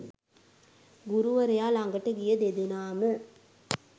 ගුරුවරයා ළඟට ගිය දෙදෙනාම